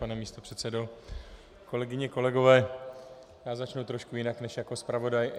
Pane místopředsedo, kolegyně, kolegové, já začnu trošku jinak než jako zpravodaj.